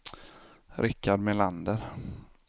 Rikard Melander